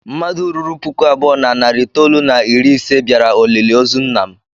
Mmadụ ruru puku abụọ na narị itoolu na iri ise bịara olili ozu nna m.